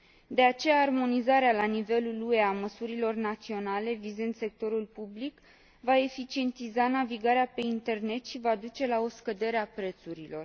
De aceea, armonizarea la nivelul UE a măsurilor naționale vizând sectorul public va eficientiza navigarea pe internet și va duce la o scădere a prețurilor.